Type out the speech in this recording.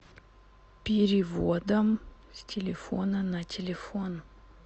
переводом с телефона на телефон